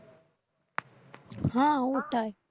হ্যাঁ ওটাই